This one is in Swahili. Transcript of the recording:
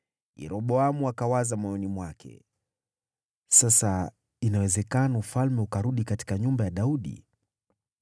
Yeroboamu akawaza moyoni mwake, “Sasa inawezekana ufalme ukarudi katika nyumba ya Daudi.